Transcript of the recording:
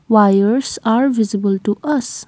wires are visible to us.